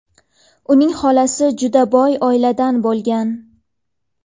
uning xolasi juda boy oiladan bo‘lgan.